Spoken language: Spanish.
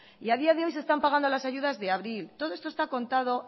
y a día de hoy se están pagando las ayudas de abril todo esto está contado